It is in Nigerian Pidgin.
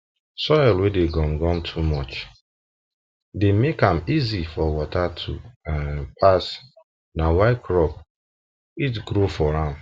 soil wey dey gum gum too much dey make am easy for water to um pass na why crop fit grow for am